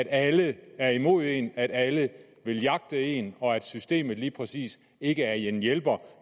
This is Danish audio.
alle er imod en som om alle vil jagte en og systemet lige præcis ikke er en hjælper